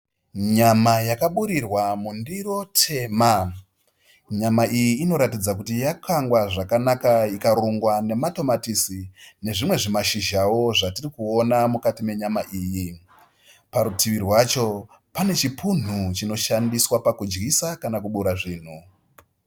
Nyama yakaburirwa mundiro tema. Nyama iyi inoratidza kuti yakangwa zvakanaka ikarungwa nematomatisi nezvimwe zvimashizhawo zvatirikona mukati menyama iyi. Parutivi rwacho pane chipunu chinoshandiswa pakudyisa kana kubura zvinhu.